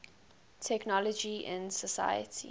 technology in society